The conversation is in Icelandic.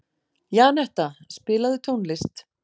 Janetta, spilaðu tónlist.